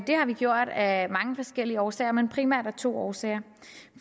har vi gjort af mange forskellige årsager men primært af to årsager